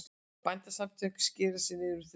Bændasamtökin skeri niður um þriðjung